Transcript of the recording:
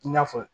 I n'a fɔ